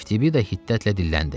Eftibida hiddətlə dilləndi.